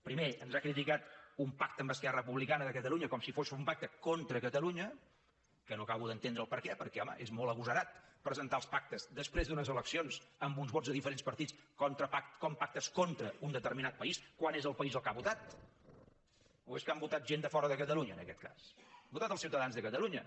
primer ens ha criticat un pacte amb esquerra republicana de catalunya com si fos un pacte contra catalunya que no acabo d’entendre el perquè perquè home és molt agosarat presentar els pactes després d’unes eleccions amb uns vots de diferents partits com pactes contraun determinat país quan és el país el que ha votat o és que han votat gent de fora de catalunya en aquest cas han votat els ciutadans de catalunya